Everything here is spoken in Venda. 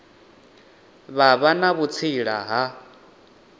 vha vha na vhutsila ha